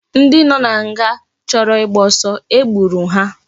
Ndi no na nga ndi choro igba osu egburu ha